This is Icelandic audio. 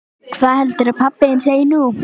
Hvað heldurðu að pabbi þinn segi nú?